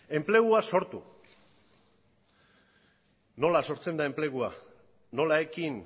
nola sortzen da enplegua nola ekin